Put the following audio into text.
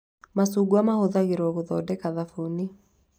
Macungwa mahũthagĩrwo gũthondeka thabuni